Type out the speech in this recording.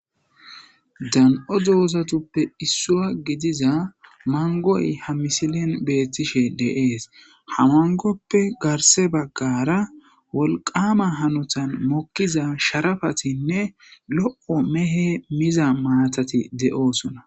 dan7o doozatuppe issua gidiza mangoy ha misilen beettishe deees hamangoppe garse baggara wolqama hanotan mokkiza sharafatinne lo7o mehe miza maatati de7oosona